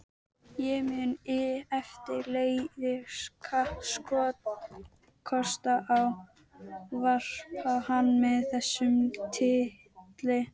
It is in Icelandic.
Ég mun eftirleiðis kappkosta að ávarpa hann með þessum titli.